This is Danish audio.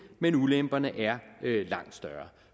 men ulemperne er langt større og